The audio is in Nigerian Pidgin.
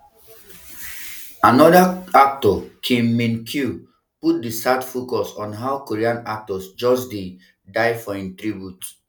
anoda actor kim min kyo put di sad focus on how korean actors just um dey die for im tribute wen